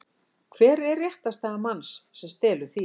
Hver er réttarstaða manns sem stelur þýfi?